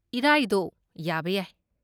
ꯏꯔꯥꯏꯗꯣ, ꯌꯥꯕ ꯌꯥꯏ꯫